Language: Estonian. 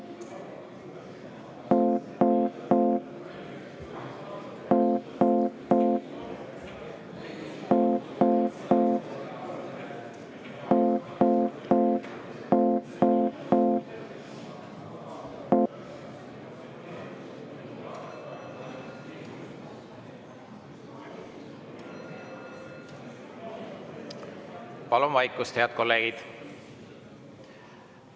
Palun vaikust, head kolleegid!